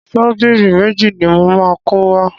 Ṣọ́bìrì méjì ni mo máa kó wá.